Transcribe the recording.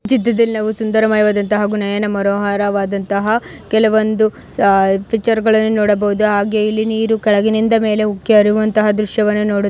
ಸುಂದರಮಯವಾದಂತಹ ಹಾಗೂ ನಯನ ಮನೋಹರವಾದಂತಹ ಕೆಲವೊಂದು ಆ ಪಿಕ್ಚರ್ ಗಳನ್ನು ನೋಡಬಹುದು ಹಾಗೆ ಇಲ್ಲಿ ನೀರು ಕೆಳಗಿನಿಂದ ಮೇಲೆ ಉಕ್ಕಿ ಹರಿಯುವಂತಹ ದೃಶ್ಯ --